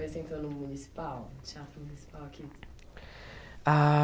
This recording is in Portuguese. Vez que você entrou no municipal Teatro Municipal aqui? Ah